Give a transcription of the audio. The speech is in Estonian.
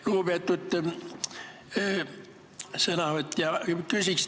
Lugupeetud sõnavõtja!